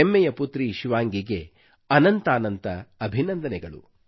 ಹೆಮ್ಮೆಯ ಪುತ್ರಿ ಶಿವಾಂಗಿಗೆ ಅನಂತಾನಂತ ಅಭಿನಂದನೆಗಳು